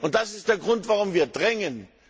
Das ist der Grund, warum wir drängen.